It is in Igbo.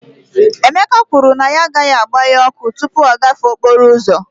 Emeka kwuru na ya agaghị agbanye ọkụ tupu ọ gafee okporo ụzọ